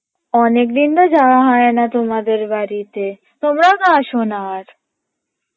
অনেকদিনতো যাওয়া হয়না তোমাদের বাড়ীতে তোমরাও তো আসনা আর